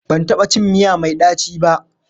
Ban taɓa cin miya mai ɗaci ba.